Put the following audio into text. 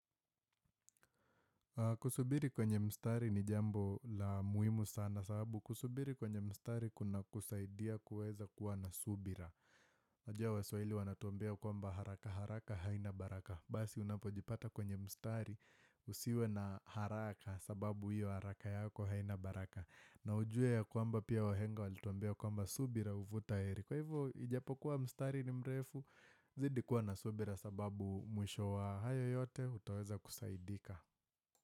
Kusubiri kwenye mstari ni jambo la muhumu sana sababu. Kusubiri kwenye mstari kuna kusaidia kuweza kuwa na subira. Najua waswahili wanatuambia kwamba haraka haraka haina baraka. Basi unapojipata kwenye mstari usiwe na haraka sababu hiyo haraka yako haina baraka. Na ujue ya kwamba pia wahenga walituambia kwamba subira huvuta heri. Kwa hivyo ijapokuwa mstari ni mrefu zidi kuwa na subira sababu mwisho wa hayo yote utaweza kusaidika.